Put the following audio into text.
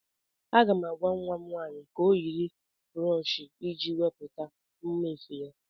Aga m agwa nwa m nwaanyị ka o yiri broochi iji wepụta mma efe a.